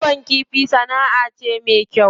Kiwon kifi sana'a ce me kyau.